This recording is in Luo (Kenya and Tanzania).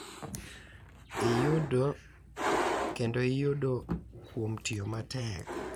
Iyudo kendo iyudo kuom tiyo matek.